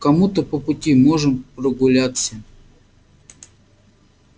кому то по пути можем прогуляться